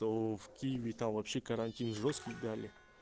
ну в киеве там вообще карантин жёсткий дали